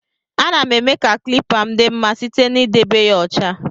Ana m eme ka klipa m di mma site na edebe ya ọcha.